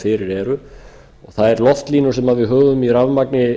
fyrir eru þær loftlínur sem við höfum í rafmagni